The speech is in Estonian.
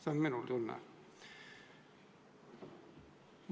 See on minu tunne.